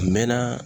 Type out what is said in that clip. A mɛɛnna